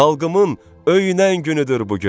Xalqımın öyünən günüdür bu gün.